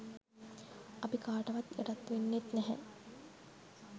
අපි කාටවත් යටත් වෙන්නේත් නැහැ.